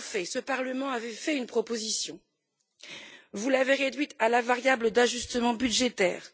Ce Parlement avait fait une proposition, vous l'avez réduite à la variable d'ajustement budgétaire.